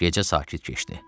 Gecə sakit keçdi.